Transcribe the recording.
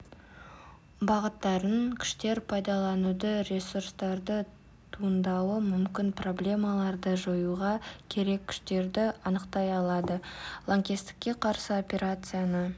бағыттарын күштер пайдалануды ресурстарды туындауы мүмкін проблемаларды жоюға керек күштерді анықтай алады лаңкестікке қарсы операцияны